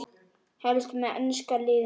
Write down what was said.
Helst með enska liðinu.